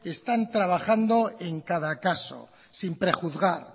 están trabajando en cada caso sin prejuzgar